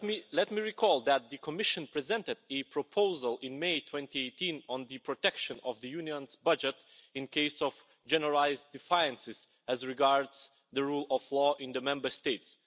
Let me recall that the Commission presented a proposal in May 2018 on the protection of the Union's budget in cases of generalised defiance as regards the rule of law in the Member States.